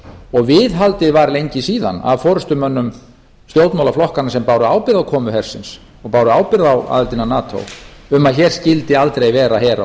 og viðhaldið var lengi síðan af forustumönnum stjórnmálaflokkanna sem báru ábyrgð á komu hersins og báru ábyrgð á aðildinni að nato um að hér skyldi aldrei vera her á